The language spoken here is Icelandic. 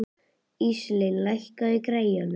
Íselín, lækkaðu í græjunum.